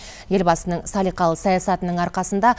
елбасының салиқалы саясатының арқасында